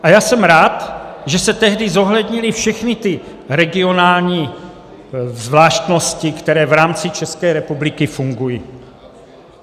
A já jsem rád, že se tehdy zohlednily všechny ty regionální zvláštnosti, které v rámci České republiky fungují.